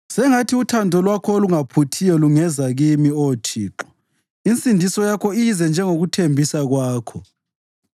Sengathi uthando lwakho olungaphuthiyo lungeza kimi, Oh Thixo, insindiso yakho ize njengokuthembisa kwakho;